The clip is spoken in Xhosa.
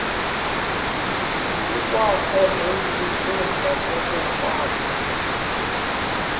kukwakho nesikhundla sokufaka